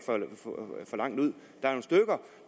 for langt ud